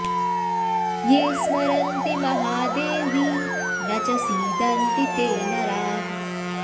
ये स्मरन्ति महादेवि न च सीदन्ति ते नराः